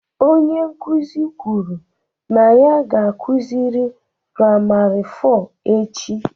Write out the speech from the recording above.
Onye nkuzi kwuru na ya ga-akụzi primary four echi